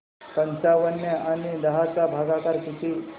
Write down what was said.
पंचावन्न आणि दहा चा भागाकार किती